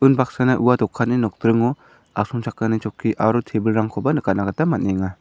unbaksana ua dokanni nokdringo asongchakni chokki aro tebilrangkoba nikatna gita man·enga.